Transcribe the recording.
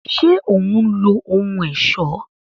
Ṣe òun lo ohùn ọṣọ